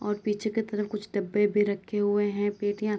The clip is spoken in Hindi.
और पीछे की तरफ कुछ डब्बे भी रक्खे हुएँ है पेटियां --